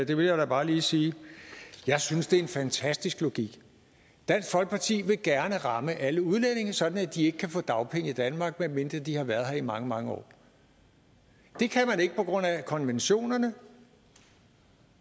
det vil jeg da bare lige sige jeg synes det er en fantastisk logik dansk folkeparti vil gerne ramme alle udlændinge sådan at de ikke kan få dagpenge i danmark medmindre de har været her i mange mange år det kan man ikke på grund af konventionerne